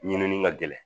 Ɲinini ka gɛlɛn